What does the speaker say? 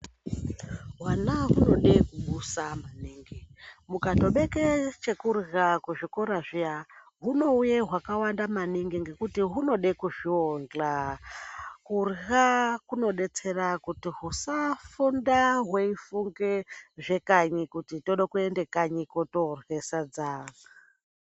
Hwana hunode kubusa maningi. Mukatobeke chekurya kuzvikora zviya, hunouye hwakawanda maningi ngekuti hunode kuzviondhla. Kurya kunodetsera kuti husafunda hweifunge zvekanyi ,kuti tode kuende kanyi kotorye sadza.